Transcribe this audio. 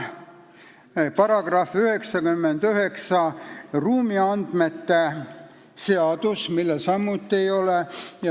Paragrahv 99, ruumiandmete seadus, sellel ei ole samuti seost.